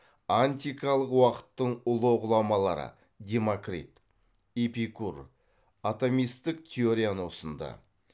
антикалық уақыттың ұлы ғұламалары демокрит эпикур атомистік теорияны ұсынды